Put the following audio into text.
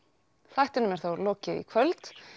þættinum er þá lokið í kvöld